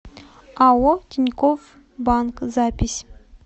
ао тинькофф банк запись